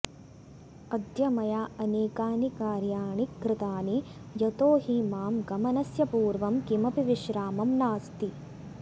अद्य मया अनेकानि कार्यणि कृतानि यतो हि मां गमनस्य पूर्वं किमपि विश्रामं नास्ति